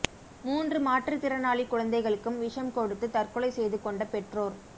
மூன்று மாற்றுத்திறனாளி குழந்தைகளுக்கும் விஷம் கொடுத்து தற்கொலை செய்து கொண்ட பெற்றோர்